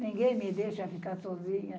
Ninguém me deixa ficar sozinha.